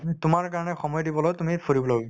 তুমি তোমাৰ কাৰণে সময় দিবলৈ তুমি ফুৰিব